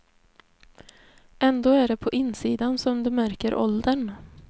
Ändå är det på insidan som du märker åldern.